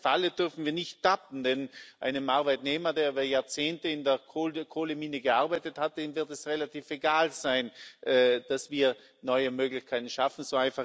Und in diese Falle dürfen wir nicht tappen, denn einem Arbeitnehmer, der über Jahrzehnte in der Kohlemine gearbeitet hat, dem wird es relativ egal sein, dass wir neue Möglichkeiten schaffen.